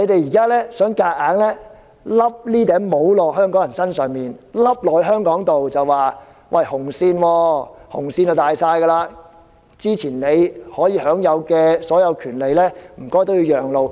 中共想強硬地把帽子套到香港人和香港身上，又說紅線最大，先前享有的所有權利也要讓路。